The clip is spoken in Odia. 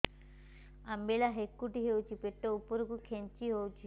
ଅମ୍ବିଳା ହେକୁଟୀ ହେଉଛି ପେଟ ଉପରକୁ ଖେଞ୍ଚି ହଉଚି